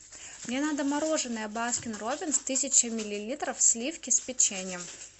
мне надо мороженое баскин роббинс тысяча миллилитров сливки с печеньем